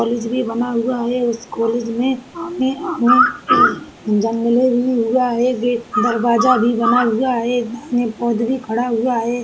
College भी बना हुआ है। उस कॉलेज में जंगले भी हुआ है। दरवाज़ा भी बना हुआ है। खड़ा हुआ है।